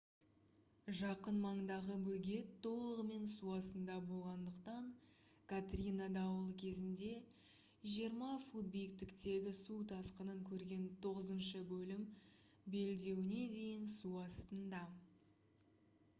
жақын маңдағы бөгет толығымен су астында болғандықтан катрина дауылы кезінде 20 фут биіктіктегі су тасқынын көрген тоғызыншы бөлім белдеуіне дейін су астында